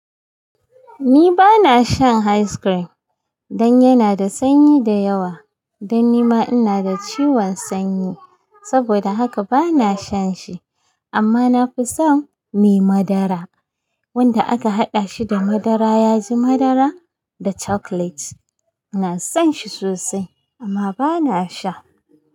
Ni bana shan ice cream dan yana da sanyi da yawa. Dan nima ina da ciwon sanyi saboda haka bana shan shi. Amma na fi son me madara wanda aka haɗa shi da madara yaji madara da chocolate. Ina son shi sosai amma bana sha.